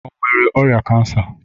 Ọ nwere ọrịa kansa?